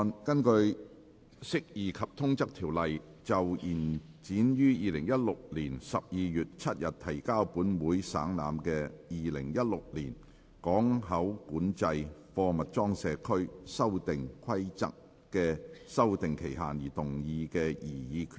根據《釋義及通則條例》就延展於2016年12月7日提交本會省覽的《2016年港口管制規例》的修訂期限而動議的擬議決議案。